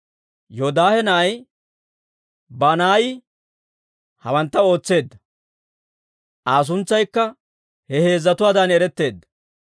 Yoodaahe na'ay Banaayi hawantta ootseedda. Aa suntsaykka he heezzatuwaadan eretteedda.